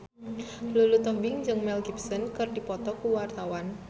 Lulu Tobing jeung Mel Gibson keur dipoto ku wartawan